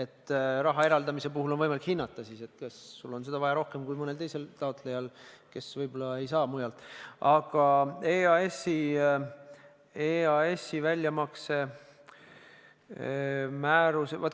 Siis on raha eraldamise puhul võimalik hinnata, kas sul on seda vaja rohkem kui mõnel teisel taotlejal, kes võib-olla ei saa mujalt.